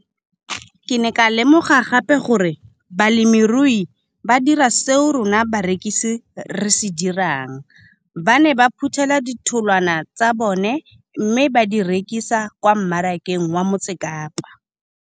Ke ne ka lemoga gape gore balemirui ba dira seo rona barekisi re se dirang - ba ne ba phuthela ditholwana tsa bona mme ba di rekisa kwa marakeng wa Motsekapa.